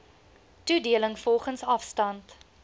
toedeling volgens afstand